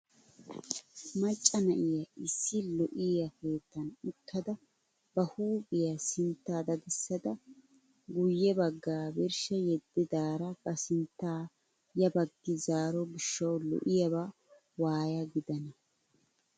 Macca na'iyaa issi lo"iyaa keettan uttada ba huuphphiyaa sinttaa dadissada guye baggaa birshsha yeddidaara ba sinttaa ya baggi zaaro giishshawu lo"iyaaba waaya gidana!